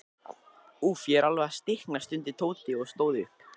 Úff, ég er alveg að stikna stundi Tóti og stóð upp.